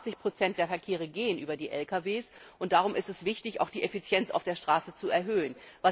Über 80 der Verkehre gehen über die Lkw, und darum ist es wichtig, auch die Effizienz auf der Straße zu erhöhen.